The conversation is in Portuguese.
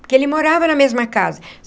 Porque ele morava na mesma casa.